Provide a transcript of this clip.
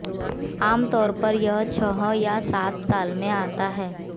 आमतौर पर यह छह या सात साल में आता है